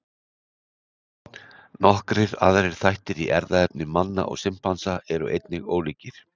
Nokkrir aðrir þættir í erfðaefni manna og simpansa eru einnig ólíkir.